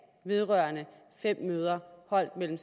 vedrørende fem møder holdt mellem